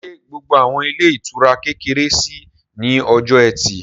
Ṣé gbogbo àwọn ilé ìtura kékeré ṣí ní ọjọ́ ẹtì?